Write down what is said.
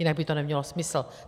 Jinak by to nemělo smysl.